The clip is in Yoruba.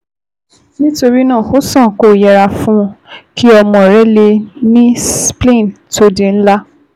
Nítorí náà, ó sàn kó o yẹra fún kí ọmọ rẹ ní spleen to di ńlá